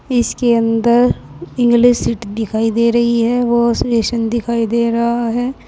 इसके अंदर English seat दिखाई दे रही है वाश बेसिन दिखाई दे रहा है।